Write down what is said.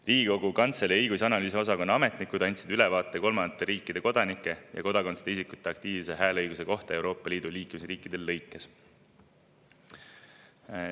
Riigikogu Kantselei õigus‑ ja analüüsiosakonna ametnikud andsid ülevaate kolmandate riikide kodanike ja kodakondsuseta isikute aktiivse hääleõiguse kohta Euroopa Liidu liikmesriikides.